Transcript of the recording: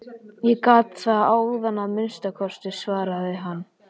Ég gat það áðan að minnsta kosti, svaraði hann.